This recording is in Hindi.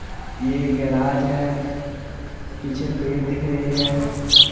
यह गैराज है पीछे पेड़ दिख रही है।